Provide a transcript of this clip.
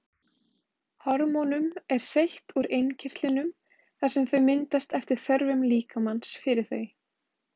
Hormónum er seytt úr innkirtlunum þar sem þau myndast eftir þörfum líkamans fyrir þau.